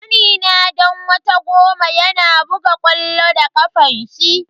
Kanina dan wata goma yana buga ƙwallo da kafanshi.